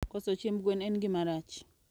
Koso chiemb gwen en gima rach.